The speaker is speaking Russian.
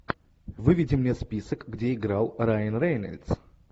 выведи мне список где играл райан рейнольдс